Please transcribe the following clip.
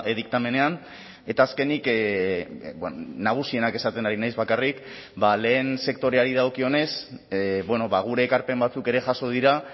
diktamenean eta azkenik nagusienak esaten ari naiz bakarrik lehen sektoreari dagokionez gure ekarpen batzuk ere jaso dira